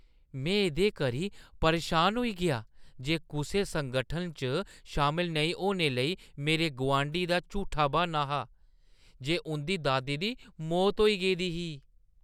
में एह्दे करी परेशान होई गेआ जे कुसै संगठन च शामल नेईं होने लेई मेरे गोआंढी दा झूठा ब्हान्ना हा जे उंʼदी दादी दी मौत होई गेई दी ही।